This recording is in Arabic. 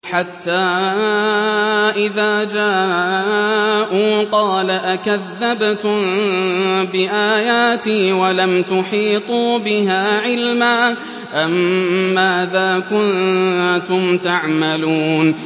حَتَّىٰ إِذَا جَاءُوا قَالَ أَكَذَّبْتُم بِآيَاتِي وَلَمْ تُحِيطُوا بِهَا عِلْمًا أَمَّاذَا كُنتُمْ تَعْمَلُونَ